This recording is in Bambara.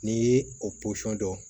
N'i ye o posɔn dɔn